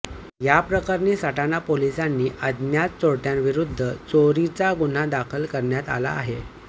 याप्रकरणी सटाणा पोलिसांनी अज्ञात चोरट्याविरु द्ध चोरीचा गुन्हा दाखल करण्यात आला आहे